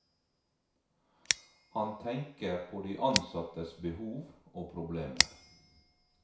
Han tenker på de ansattes behov og problemer.